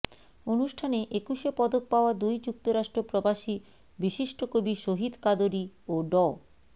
অনুষ্ঠানে একুশে পদক পাওয়া দুই যুক্তরাষ্ট্র প্রবাসী বিশিষ্ট কবি শহীদ কাদরী ও ড